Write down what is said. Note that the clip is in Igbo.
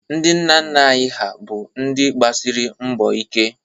Ndị nna nna anyị ha bụ ndị gbasịrị mbọ ike.